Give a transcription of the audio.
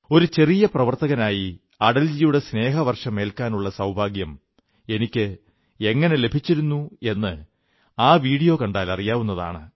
ഒരു ചെറിയ പ്രവർത്തകനായി അടൽജിയുടെ സ്നേഹവർഷമേൽക്കാനുള്ള സൌഭാഗ്യം എനിക്ക് എങ്ങനെ ലഭിച്ചിരുന്നു എന്ന് ആ വീഡിയോ കണ്ടാൽ അറിയാവുന്നതാണ്